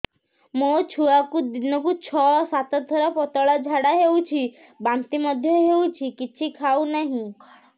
ମୋ ଛୁଆକୁ ଦିନକୁ ଛ ସାତ ଥର ପତଳା ଝାଡ଼ା ହେଉଛି ବାନ୍ତି ମଧ୍ୟ ହେଉଛି କିଛି ଖାଉ ନାହିଁ